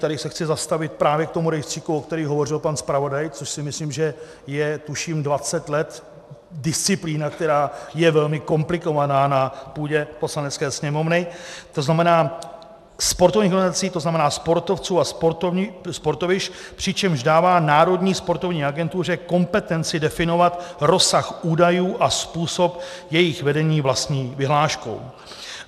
Tady se chci zastavit právě k tomu rejstříku, o kterém hovořil pan zpravodaj, což si myslím, že je tuším 20 let disciplína, která je velmi komplikovaná na půdě Poslanecké sněmovny, to znamená sportovních organizací, to znamená sportovců a sportovišť, přičemž dává Národní sportovní agentuře kompetenci definovat rozsah údajů a způsob jejich vedení vlastní vyhláškou.